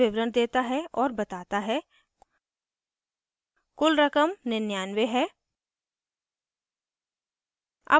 यह विवरण देता है और बताता है कुल रकम 99 है